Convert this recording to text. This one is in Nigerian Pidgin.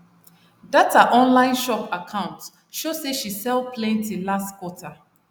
that her online shop account show say she sell plenty last quarter